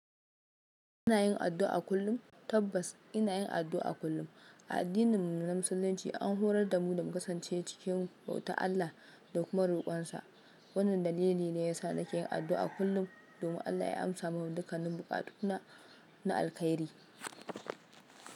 Ina yin addu'a kullum. Tabbas ina yin addu'a kullum. A addinin musulunci an horar da mu da mu kasance cikin bautar Allah da kuma rukunsa. Wannan dalili ne ya sa nake yin addu'a kullum domin Allah ya amsa mun dukkanin buƙatuna na alkhairi.